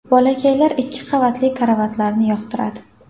Bolakaylar ikki qavatli karavotlarni yoqtiradi.